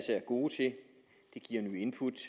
gode til det giver nye input